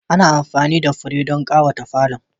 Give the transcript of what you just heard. Ana amfani da fure don ƙawata falon.